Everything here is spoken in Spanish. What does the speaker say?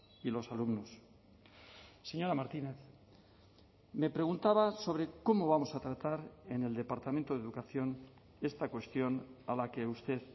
y los alumnos señora martínez me preguntaba sobre cómo vamos a tratar en el departamento de educación esta cuestión a la que usted